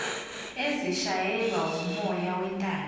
ezishayelwa wumoya wentando